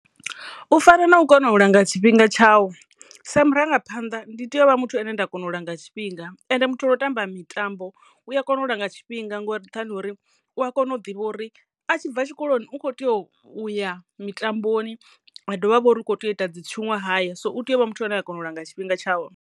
U fana na u kona u langa tshifhinga tshawu sa murangaphanḓa ndi tea u vha muthu ane nda kona u langa tshifhinga ende muthu ono u tamba mitambo u a kona u langa tshifhinga ngori nga nthani hori u a kono u ḓivha uri a tshi bva tshikoloni u kho teyo u ya mitamboni ha dovha ha vha uri u kho tea u ita dzi tshiṅwahaya so u teyo u vha muthu ane a kona u langa tshifhinga tshawe.